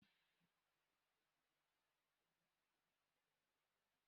Wetara m akwụkwọ ụzịza ma ị na-abịa echi